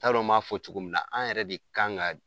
N t'a dɔn b'a fɔ cogo min na, an yɛrɛ de kan ka